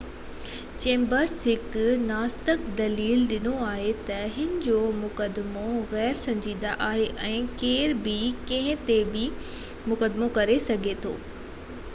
Chambers, هڪ ناستڪ، دليل ڏنو آهي ته هن جو مقدمو غير سنجیدہ آهي ۽ ڪير به ڪنهن تي به مقدمو ڪري سگهي ٿو.